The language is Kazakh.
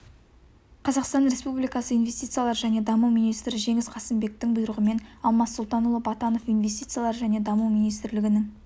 қазақстан республикасы инвестициялар және даму министрі жеңіс қасымбектің бұйрығымен алмас сұлтанұлы батанов инвестициялар және даму министрлігінің